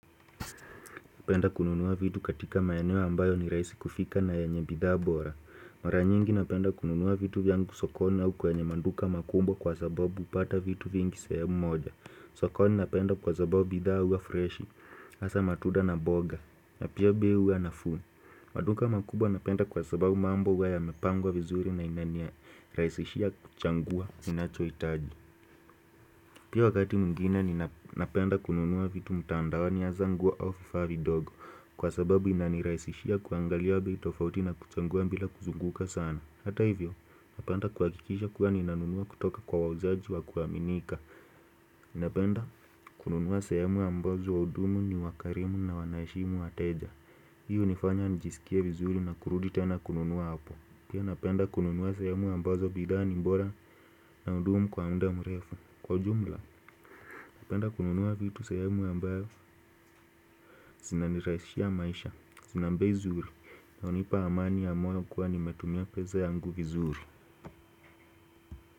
Napenda kununua vitu katika maeneo ambayo ni rahisi kufika na yanye bidhaa bora. Maranyingi napenda kununua vitu vyangu sokoni au kwenye manduka makumbo kwa sababu upata vitu vingi sebo moja. Sokoni napenda kwa sababu bidhaa uwa freshi. Asa matuda na mboga. Napia bei ya nafumi. Maduka makumbo napenda kwa sababu mambo uwa ya mepangwa vizuri na inania rahisishia kuchangua inachohitaji. Pia wakati mwingine ni napenda kununua vitu mutandawa ni hazangua au fifavi dogo. Kwa sababu inanirahisishia kuangalia tofauti na kuchangua bila kuzunguka sana. Hata hivyo, napenda kuhakikisha kuwa ninanunua kutoka kwa wauzaji wa kuaminika Napenda kununua sahemu ambazo waudumu ni wakarimu na wanaheshimu wateja. Hiyo unifanya nijisikie vizuri na kurudi tena kununua hapo Pia napenda kununua sahemu ambazo bidhaa ni bora na hudumu kwa muda mrefu Kwa ujumla, napenda kununua vitu sahemu ambayo sina nirahisishia maisha sinambe zuru, naonipa amani ya mayo kuwa nimetumia pesa yangu vizuru.